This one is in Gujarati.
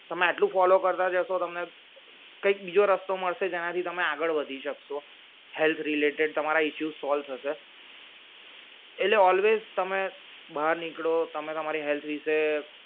તમે આટલું follow કરતા જશો તમને કયક બીજો રસ્તો મળશે જેનાથી તમે આગળ વધી શકશો health related તમારા issue solve થશે એટલે always તમે બહાર નીકળો તમે તમારી health વિષે